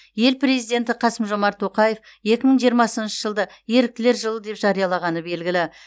ел президенті қасым жомарт тоқаев екі мың жиырмасыншы жылды еріктілер жылы деп жариялағаны белгілі